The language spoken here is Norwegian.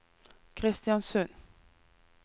Kristiansund